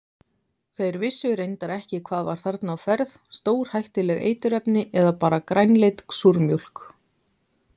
Þeir vissu reyndar ekki hvað var þarna á ferð, stórhættuleg eiturefni eða bara grænleit súrmjólk?